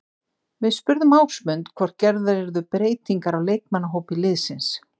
Við spurðum Ásmund hvort gerðar yrði breytingar á leikmannahópi liðsins.